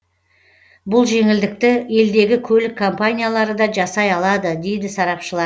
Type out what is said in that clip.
бұл жеңілдікті елдегі көлік компаниялары да жасай алады дейді сарапшылар